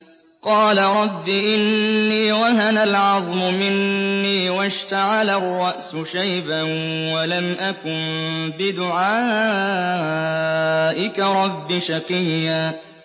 قَالَ رَبِّ إِنِّي وَهَنَ الْعَظْمُ مِنِّي وَاشْتَعَلَ الرَّأْسُ شَيْبًا وَلَمْ أَكُن بِدُعَائِكَ رَبِّ شَقِيًّا